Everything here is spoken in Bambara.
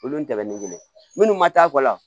Olu tɛmɛnen munnu ma taa kɔ la